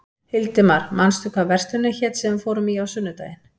Hildimar, manstu hvað verslunin hét sem við fórum í á sunnudaginn?